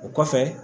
O kɔfɛ